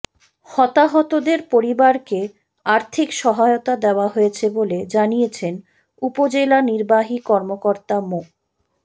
হতাহতদের পরিবারকে আর্থিক সহায়তা দেয়া হয়েছে বলে জানিয়েছেন উপজেলা নির্বাহী কর্মকর্তা মো